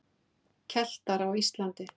Keltar á Íslandi.